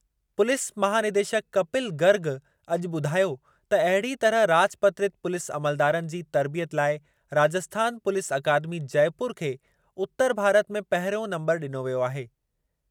Police महानिदेशकु कपिल गर्ग अॼु ॿुधायो त अहिड़ी तरह राजपत्रित पु्लीस अमलदारनि जी तर्बियत लाइ राजस्थान पुलीस अकादमी जयपुर खे उतर भारत में पहिरियों नंबर ॾिनो वियो आहे।